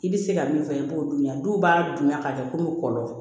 I bɛ se ka min fɔ i b'o dun yan dɔw b'a dunya k'a kɛ komi kɔlɔn